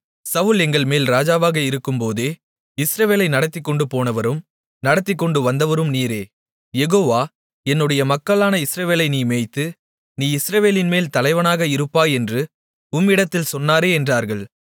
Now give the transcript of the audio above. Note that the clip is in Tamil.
சவுல் எங்கள்மேல் ராஜாவாக இருக்கும்போதே இஸ்ரவேலை நடத்திக்கொண்டுபோனவரும் நடத்திக்கொண்டுவந்தவரும் நீரே யெகோவா என்னுடைய மக்களான இஸ்ரவேலை நீ மேய்த்து நீ இஸ்ரவேலின்மேல் தலைவனாக இருப்பாய் என்று உம்மிடத்தில் சொன்னாரே என்றார்கள்